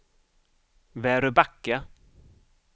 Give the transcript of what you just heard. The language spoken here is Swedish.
Väröbacka